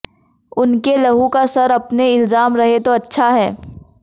उनके लहू का सर अपने इल्जाम रहे तो अच्छा है